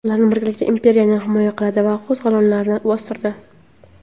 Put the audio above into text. Ular birgalikda imperiyani himoya qildi va qo‘zg‘olonlarni bostirdi.